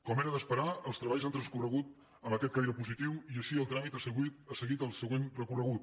com era d’esperar els treballs han transcorregut amb aquest caire positiu i així el tràmit ha seguit el següent recorregut